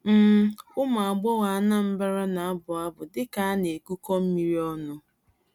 um Ụmụ agbọghọ Anambra na-abụ abụ dịka na-ekukọ mmiri ọnụ..